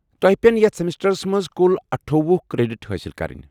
توہہِ پین یتھ سیمسٹرس منٛز کُل اٹھووُہ کریڈٹ حٲصل کرٕنۍ ۔